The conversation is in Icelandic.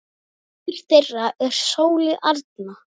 Dóttir þeirra er Sóley Arna.